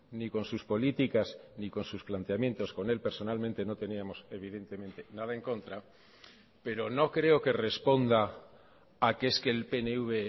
ni con sus políticas ni con sus planteamientos con él personalmente no teníamos evidentemente nada en contra pero no creo que responda a que es que el pnv